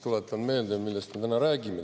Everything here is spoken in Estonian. Tuletan meelde, millest me täna räägime.